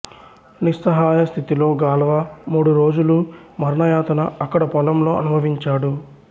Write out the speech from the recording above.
నిస్సహాయ స్థితిలో గాల్వా మూడురోజులు మరణయాతన అక్కడ పొలంలో అనుభవించాడు